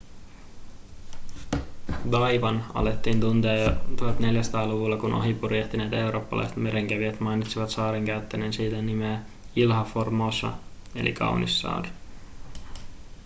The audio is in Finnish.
taiwan alettiin tuntea jo 1400-luvulla kun ohi purjehtineet eurooppalaiset merenkävijät mainitsivat saaren käyttäen siitä nimeä ilha formosa eli kaunis saari